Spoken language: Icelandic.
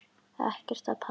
Ekkert að panta.